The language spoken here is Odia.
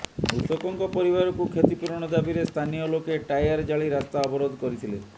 ମୃତକଙ୍କ ପରିବାରକୁ କ୍ଷତିପୂରଣ ଦାବିରେ ସ୍ଥାନୀୟ ଲୋକେ ଟାୟାର ଜାଳି ରାସ୍ତା ଅବରୋଧ କରିଥିଲେ